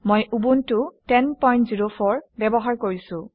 মই উবুণ্টু 1004 ব্যৱহাৰ কৰিছোঁ